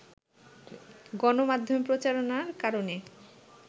গণমাধ্যমে প্রচারণার কারণে